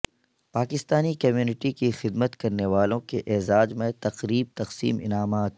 Pakistani community کی خدمت کرنیوالوں کے اعزاز میں تقریب تقسیم انعامات